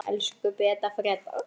Elsku Beta.